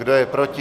Kdo je proti?